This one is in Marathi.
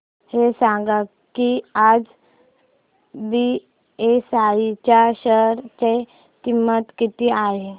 हे सांगा की आज बीएसई च्या शेअर ची किंमत किती आहे